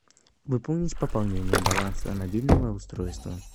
выполнить пополнение баланса мобильного устройства